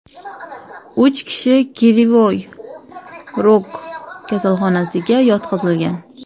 Uch kishi Krivoy Rog kasalxonalariga yotqizilgan.